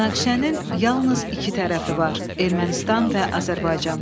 Münaqişənin yalnız iki tərəfi var: Ermənistan və Azərbaycan.